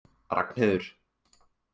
Ragnheiður